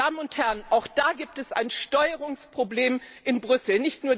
Meine Damen und Herren, auch da gibt es ein Steuerungsproblem in Brüssel.